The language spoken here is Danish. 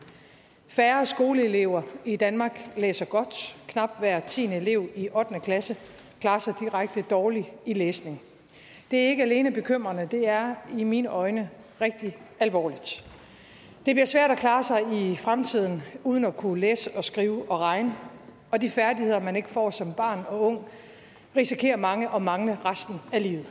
færre skoleelever i danmark læser godt knap hver tiende elev i ottende klasse klarer sig direkte dårligt i læsning det er ikke alene bekymrende det er i mine øjne rigtig alvorligt det bliver svært at klare sig i fremtiden uden at kunne læse skrive og regne og de færdigheder man ikke får som barn og ung risikerer mange at mangle resten af livet